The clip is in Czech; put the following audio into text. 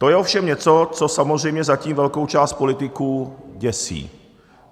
To je ovšem něco, co samozřejmě zatím velkou část politiků děsí.